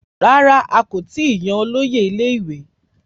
Rárá, a kò tí ì yan olóyè ilé-ìwé